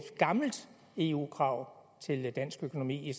gammelt eu krav til dansk økonomi i